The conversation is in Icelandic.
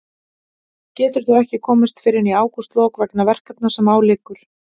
Getur þó ekki komist fyrr en í ágústlok vegna verkefna sem á liggur.